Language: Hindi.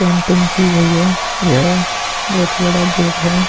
पेंटिंग की गई है यह बहुत बड़ा गेट है।